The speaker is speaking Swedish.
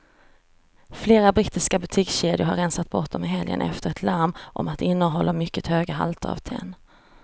Flera brittiska butikskedjor har rensat bort dem i helgen efter ett larm om att de innehåller mycket höga halter av tenn.